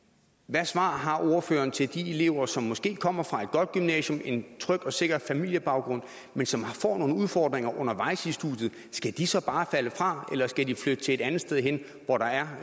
svar har ordføreren til de elever som måske kommer fra et godt gymnasium en tryg og sikker familiebaggrund men som får nogle udfordringer undervejs i studiet skal de så bare falde fra eller skal de flytte et andet sted hen hvor der er